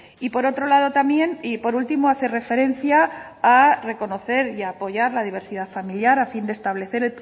y por otro lado también y por último hace referencia a reconocer y apoyar la diversidad familiar a fin de establecer